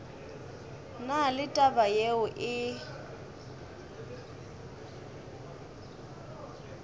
na le taba yeo e